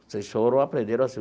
Vocês foram e aprenderam assim.